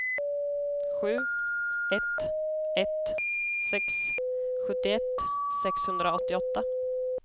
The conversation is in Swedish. sju ett ett sex sjuttioett sexhundraåttioåtta